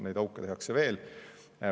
Neid auke tehakse veel.